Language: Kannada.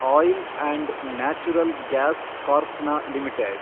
ಆಯಿಲ್ & ನ್ಯಾಚುರಲ್ ಗ್ಯಾಸ್ ಕಾರ್ಪ್ನ ಲಿಮಿಟೆಡ್